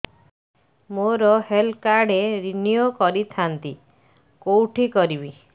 ମୋର health card renew କରିଥାନ୍ତି କୋଉଠି କରିବି